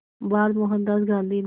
बार मोहनदास गांधी ने